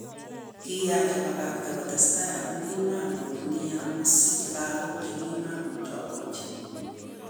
Kiyach abakakta kotestai amun kimach nia kosich lagok chekimomuche ogochi.